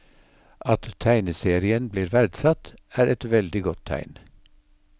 At tegneserien blir verdsatt, er et veldig godt tegn.